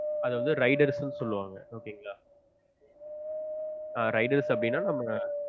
அத வந்து riders நு சொல்லுவாங்க okay ங்களா riders அப்டினா நம்ம